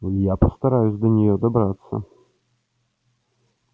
я постараюсь до неё добраться